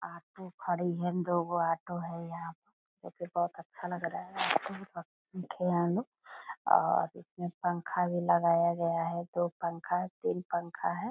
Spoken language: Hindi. ऑटो खड़ी है दो गो ऑटो हैं यहाँ पे जो की बहुत अच्छा लग रहा है और इसमे पंखा भी लगाया गया है दो पंखा तीन पंखा है।